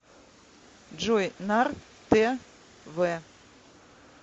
джой нар тэ вэ